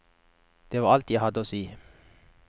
Det var alt jeg hadde å si.